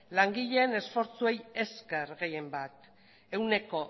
langileen esfortzuei esker gehien bat ehuneko